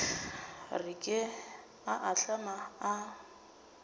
re ke a ahlama a